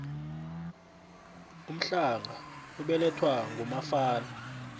umhlanga ubelathwa ngumafana